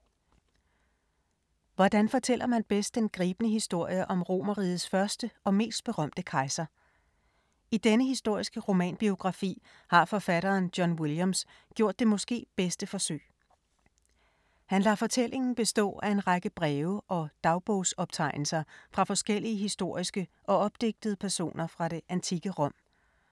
Hvordan fortæller man bedst den gribende historie om Romerrigets første og mest berømte kejser? I denne historiske romanbiografi har forfatteren John Williams gjort det måske bedste forsøg. Han lader fortællingen bestå af en række breve og dagbogsoptegnelser fra forskellige historiske og opdigtede personer fra det antikke Rom.